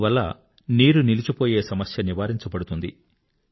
దీనివల్ల water logging సమస్య నివారింపబడుతుంది